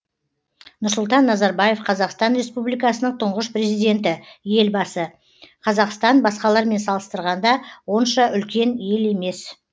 нұрсұлтан назарбаев қазақстан республикасының тұңғыш президенті елбасы қазақстан басқалармен салыстырғанда онша үлкен ел емес